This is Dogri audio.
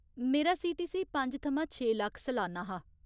मेरा सीटीसी पंज थमां छे लक्ख सलान्ना हा।